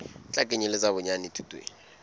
tla kenyeletsa bonyane thuto e